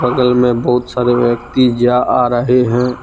बगल में बहुत सारे व्यक्ति जा आ रहे है।